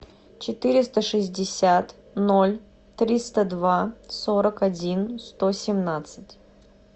четыреста шестьдесят ноль триста два сорок один сто семнадцать